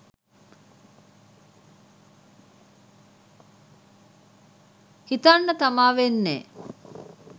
හිතන්නතමා වෙන්නෙ.